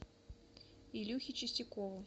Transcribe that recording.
илюхе чистякову